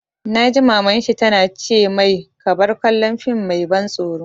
Na ji Maman shi ta na ce mai 'Ka bar kallon fim mai ban tsoro'!